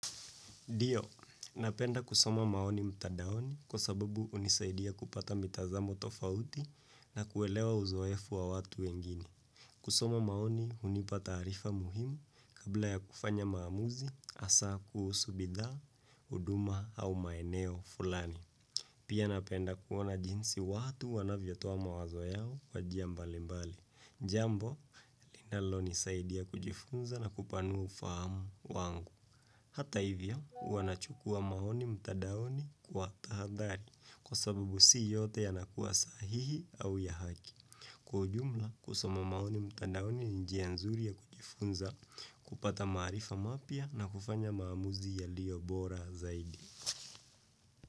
Ndio, napenda kusoma maoni mtandaoni kwa sababu hunisaidia kupata mitazamo tofauti na kuelewa uzoefu wa watu wengine. Kusoma maoni hunipa taarifa muhimu kabla ya kufanya maamuzi, hasa kuhusu bidhaa, huduma au maeneo fulani. Pia napenda kuona jinsi watu wanavyatoa mawazo yao kwa njia mbalimbali. Jambo, linalonisaidia kujifunza na kupanua ufahamu wangu. Hata hivyo, wanachukua maoni mtadaoni kwa tahadhari kwa sababu si yote yanakuwa sahihi au ya haki. Kwa ujumla, kusoma maoni mtadaoni ni njia nzuri ya kujifunza kupata maarifa mapya na kufanya maamuzi yalio bora zaidi.